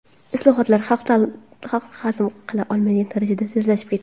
Islohotlar xalq hazm qila olmaydigan darajada tezlashib ketdi.